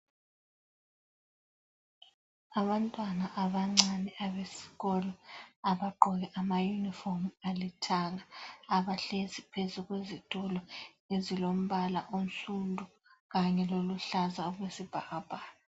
Abantwana abancane abesikolo ,abagqoke ama uniform alithanga .Abahlezi phezu kwezitulo ezilombala onsundu kanye loluhlaza okwesibhakabhaka.